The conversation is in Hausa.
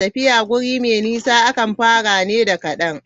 Tafiya wuri mai nisa akan fara ne da kadan.